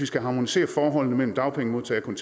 skal harmonisere forholdet mellem dagpengemodtagere og